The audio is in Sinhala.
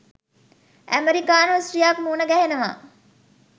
ඇමරිකානු ස්ත්‍රියක් මුණ ගැහෙනවා.